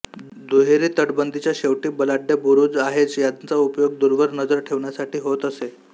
दुहेरी तटबंदीच्या शेवटी बलाढ्य बुरुज आहेच यांचा उपयोग दूरवर नजर ठेवण्यासाठी होत असे